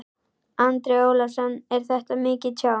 Andri Ólafsson: Er þetta mikið tjón?